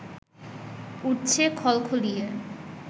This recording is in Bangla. উঠছে খলখলিয়ে